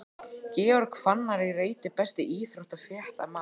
Georg Fannar í reit Besti íþróttafréttamaðurinn?